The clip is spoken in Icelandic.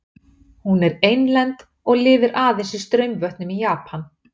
Hún er einlend og lifir aðeins í straumvötnum í Japan.